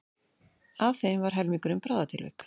Af þeim var helmingurinn bráðatilvik